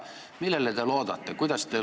Millele te loodate?